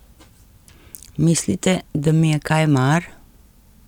Mislite, da mi je kaj mar?